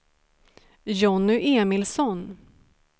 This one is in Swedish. Jonny Emilsson